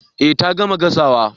Eh ta gama gasawa